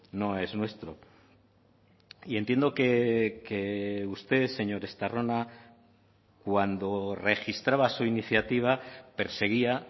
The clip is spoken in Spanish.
no es nuestro y entiendo que usted señor estarrona cuando registraba su iniciativa perseguía